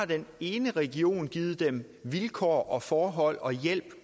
den ene region har givet vilkår og forhold og hjælp